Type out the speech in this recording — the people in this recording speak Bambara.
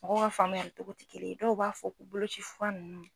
Mɔgɔw ka faamuyali cogo tɛ kelen ye dɔw b'a fɔ ko boloci fura ninnu.